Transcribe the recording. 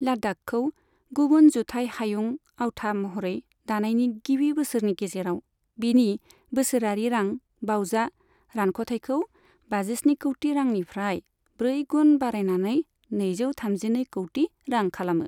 लाद्दाखखौ गुबुन जुथाइ हायुं आवथा महरै दानायनि गिबि बोसोरनि गेजेराव बीनि बोसोरारि रां बावजा रानख'थाइखौ बाजिस्नि कौटि रांनिफ्राय ब्रै गुन बारायनानै नैजो थामजिनै कौटि रां खालामो।